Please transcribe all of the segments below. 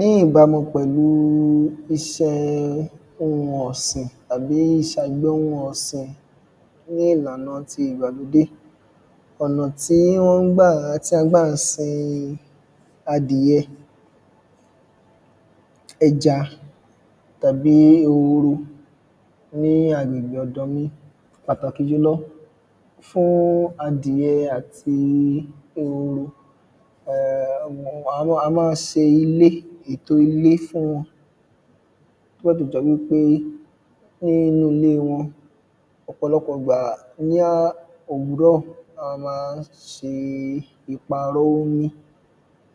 Ní ìbámu pẹ̀lú isẹ́ ohun ọ̀sìn tàbí ìṣàgbẹ̀ ohun ọ̀sìn ní ìlànà ti ìgbàlódé. Ọ̀nà tí wọ́n ń gbà tí à ń gbà sin adìyẹ ẹja tàbí ehoro ní agbègbè ọ̀dọ̀ mi. Pàtàkì julọ fún adìyẹ àti um a mọ́ ń ṣe ilé ètò ilé fún wọn nígbà tó jẹ́ wípé nínú ilé wọn ọ̀pọ̀lọpọ̀ ìgbà ní òwúrọ̀ a má ń ṣe ìpàrọ̀ omi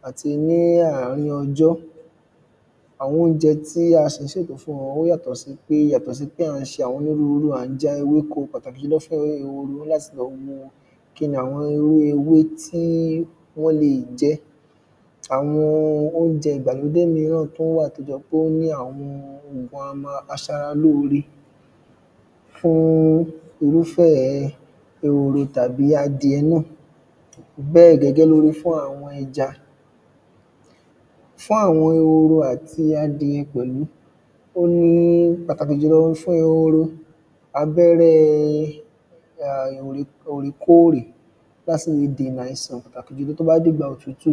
àti ní àrin ọjọ́. Àwọn óúnjẹ tí a sì tún ń ṣètò fún wọn ó yàtọ̀ sí pé yàtọ̀ sí pé à ń ṣe àwọn onírúrú à ń já ewéko pàtàkì jùlọ fún àwọn ehoro a ní láti wo kíni àwọn irú ewé tí wọ́n le jẹ àwọn óúnjẹ ìgbàlódé míràn tún wà tó jẹ́ póní àwọn ògùn aṣara lóre fún irúfẹ́ ehoro tàbí adiẹ náà bẹ́ẹ̀ gẹ́gẹ́ ló rí fún àwọn ẹja fún àwọn ehoro àti adiẹ pẹ̀lú náà. Oun ni pàtàkì jùlọ fún ehoro abẹ́rẹ́ um òrèkórè bá se le dènà àìsàn pàtàkì jùlọ tó bá dìgbà òtútù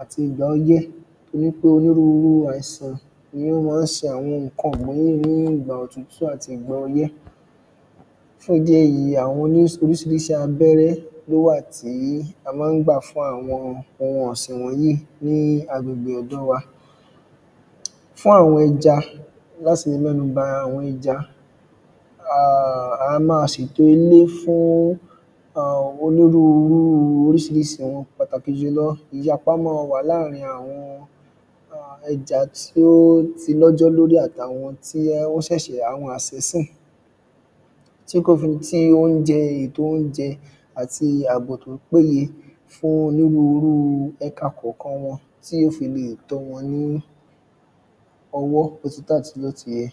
àti ìgbà ọyẹ́ torípé onírúrú àìsàn ni ó má ń se àwọn nǹkan ọ̀sìn ní ìgbà òtútù àti ní ìgbà ọyẹ́. Fún ìdí èyí àwọn oní orísirísi abẹ́rẹ́ ló wà tí la má ń gbà fún àwọn ohun ọ̀sìn yìí ní agbègbè ọ̀dọ̀ wa. Fún àwọn ẹja láti mẹ́nuba àwọn ẹja um a má sètò ilé fún um oríṣiríṣi onírúrú pàtàkì jùlọ ìyapa má wà láàrin àwọn ẹja tí ó ti lọ́jọ́ lórí àti àwọn tí ó ṣẹ̀ṣẹ̀ àwọn àsínsìn tí kò fi tí óúnjẹ ètò óúnjẹ àti àbò tó péye fún onírúrú ẹka kọ̀kan wọn tí ó fi lè tó wọn ní. ọwọ́ àti tó àti bó ti yẹ.